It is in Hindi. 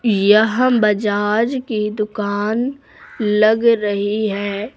यह बजाज की दुकान लग रही है।